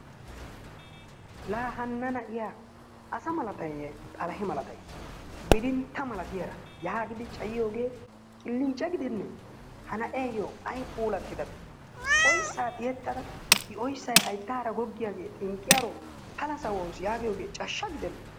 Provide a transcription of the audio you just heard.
Laa hanna na'iya asa malatayiyye xalahe malatay, bidintta milatiyara yaagidi cayiyogee qillicce gidennee. Ha na'eeyyo ay puulattidabee, oyssaa tiyettada qinxxalliyara goggiyaro pala sawawusu giyogee cashsha gidennee.